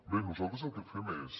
bé nosaltres el que fem és